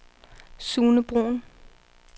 Sune Bruhn